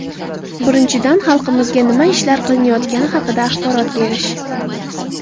Birinchidan, xalqimizga nima ishlar qilinayotgani haqida axborot berish.